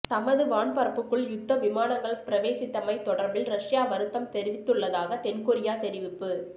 தமது வான் பரப்புக்குள் யுத்த விமானங்கள் பிரவேசித்தமை தொடர்பில் ரஷ்யா வருத்தம் தெரிவித்துள்ளதாக தென்கொரியா தெரிவிப்பு